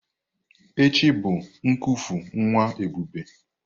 Echi bụ ñnkufu nwa Ebube.